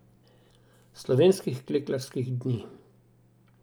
Slovenskih klekljarskih dni.